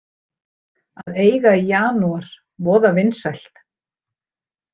Að eiga í janúar, voða vinsælt.